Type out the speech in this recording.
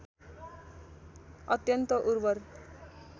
अत्यन्त उर्वर